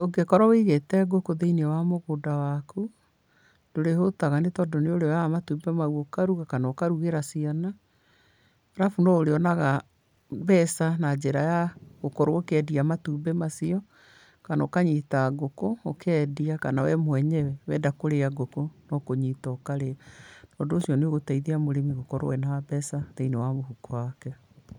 ũngĩkorwo ũigĩte ngũkũ thĩ-inĩ wa mũgũnda waku, ndũrĩhũtaga nĩ tondũ nĩũrĩoyaga matumbĩ mau ũkaruga, kana ũkarugĩra ciana. Arabu no ũrĩonaga mbeca na njĩra ya gũkorwo ũkĩendia matumbĩ macio, kana ũkanyita ngũkũ, ũkendia, kana we mwenyewe, wenda kũrĩa ngũkũ, no kũnyita ũkarĩa. Ũndũ ũcio nĩũgũteithia mũrĩmi gũkorwo ena mbeca thĩiinĩ wa mũhuko wake.